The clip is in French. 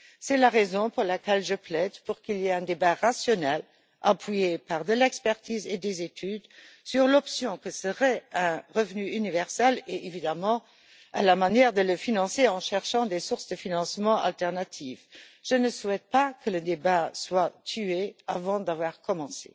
C'est la raison pour laquelle je plaide pour un débat rationnel, appuyé par de l'expertise et des études, sur l'option d'un revenu universel et, évidemment, la manière de le financer en cherchant des sources de financement alternatives. Je ne souhaite pas que le débat soit tué avant d'avoir commencé.